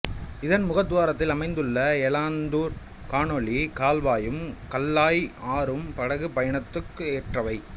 இதன் முகத்துவாரத்தில் அமைந்துள்ள எலாத்தூர் கானொலி கால்வாயும் கல்லாய் ஆறும் படகு பயணத்துக்கு ஏற்றவை